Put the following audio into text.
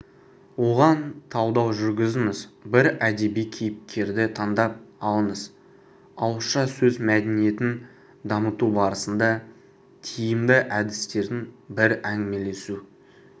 оған талдау жүргізіңіз бір әдеби кейіпкерді таңдап алыңыз ауызша сөз мәдениетін дамыту барысында тиімді әдістердің бірі әңгімелесу